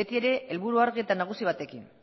beti ere helburu argi eta nagusi batekin